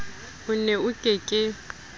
o ne o ke ke